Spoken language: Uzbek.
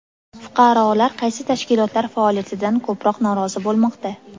Fuqarolar qaysi tashkilotlar faoliyatidan ko‘proq norozi bo‘lmoqda?